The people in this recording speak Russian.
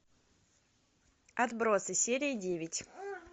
отбросы серия девять